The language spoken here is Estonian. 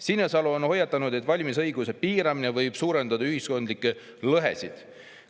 Sinisalu on hoiatanud, et valimisõiguse piiramine võib suurendada ühiskondlikke lõhesid.